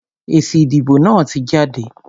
Èsì ìdìbò náà tí jáde.